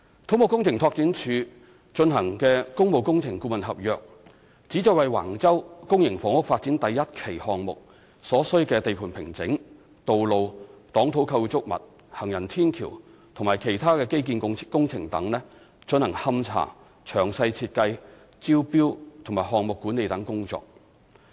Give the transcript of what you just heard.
土木工程拓展署的工務工程顧問合約旨在為橫洲公營房屋發展第1期項目所需的地盤平整、道路、擋土構築物、行人天橋和其他基建工程等進行勘查、詳細設計、招標及項目管理等工作。